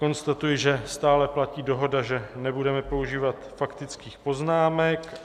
Konstatuji, že stále platí dohoda, že nebudeme používat faktických poznámek.